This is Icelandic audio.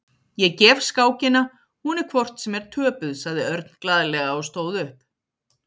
Ég gef skákina, hún er hvort sem er töpuð, sagði Örn glaðlega og stóð upp.